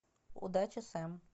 удачи сэм